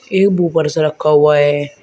एक वूफर सा रखा हुआ है।